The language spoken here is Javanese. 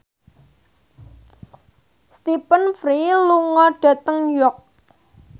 Stephen Fry lunga dhateng York